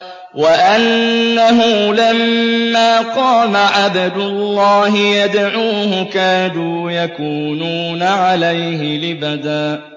وَأَنَّهُ لَمَّا قَامَ عَبْدُ اللَّهِ يَدْعُوهُ كَادُوا يَكُونُونَ عَلَيْهِ لِبَدًا